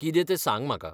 कितें तें सांग म्हाका.